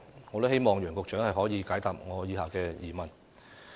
我希望楊局長可以解答我的疑問。